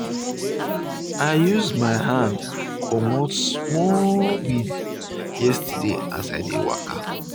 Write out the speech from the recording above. i use my hand um comot small weed yesterday as we dey waka